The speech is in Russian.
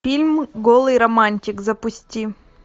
фильм голый романтик запусти